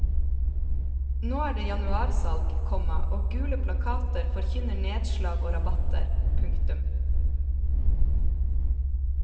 Nå er det januarsalg, komma og gule plakater forkynner nedslag og rabatter. punktum